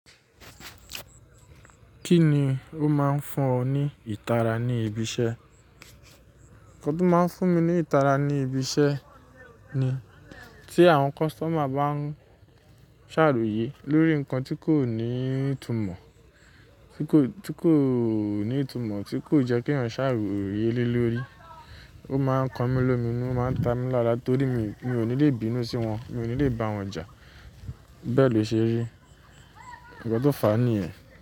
Kí ni ó máa ń fún ọ ní ìtara ní ibi iṣẹ́? Ǹkan tí ó máa ń fún mi ní ìtara ní ibi iṣẹ́ ni tí àwọn customer bá ń ṣàròyé lórí nǹkan tí kò ní ìtúmọ̀, tí kò, tí kò ní ìtúmọ̀, tí kò jẹ́ kí eyan ṣe aròyé lé lórí. Ó máa ń kọ mí lomi inu, ó máa ń ta mí lára torí mi ò ní lè bínú sí wọn, mi ò ní lè bá wọn jà. Bẹ́ẹ̀ lo ṣe rí. Ǹkan tó fàá nìyẹn.